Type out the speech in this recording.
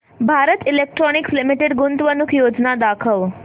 Bharat electronics limited गुंतवणूक योजना दाखव